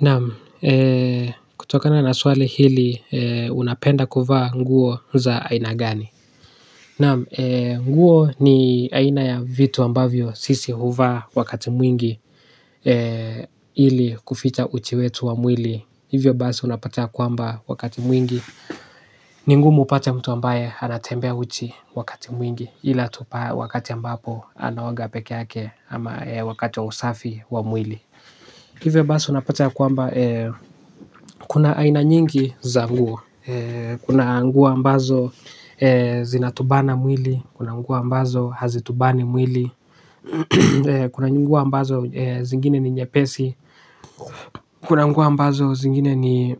Naam, kutoka na naswali hili unapenda kuvaa nguo za aina gani. Naam, nguo ni aina ya vitu ambavyo sisi huvaa wakati mwingi ili kuficha uchi wetu wa mwili. Hivyo basi unapata kwamba wakati mwingi ningumu upate mtu ambaye anatembea uchi wakati mwingi ila tu wakati ambapo anaoga peke yake ama wakati wa usafi wa mwili. Hivyo basi unapata ya kwamba kuna aina nyingi za nguo. Kuna nguo ambazo zinatubana mwili. Kuna nguo ambazo hazitubani mwili. Kuna nguo ambazo zingine ni nyepesi. Kuna nguo ambazo zingine ni